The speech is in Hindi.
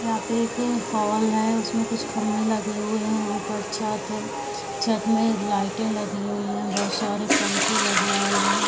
यहाँ पे एक हॉल है उसमें कुछ खम्भे लगे हुए हैं। ऊपर छत है। छत में लाइटें लगी हुई हैं। बहोत सारे पंखे लगे हुए हैं।